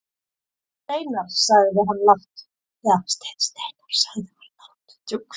Steinn Steinarr, sagði hann lágt.